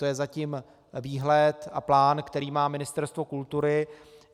To je zatím výhled a plán, který má Ministerstvo kultury.